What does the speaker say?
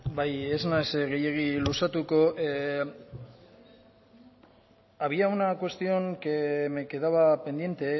bai ez naiz gehiegi luzatuko había una cuestión que me quedaba pendiente